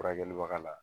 Furakɛlibaga la